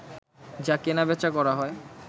যা কেনাবেচা করা হয়